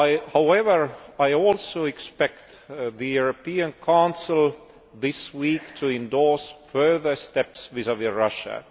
However, I also expect the European Council this week to endorse further steps vis vis Russia.